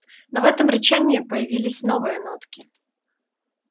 но в этом рычании появились новые нотки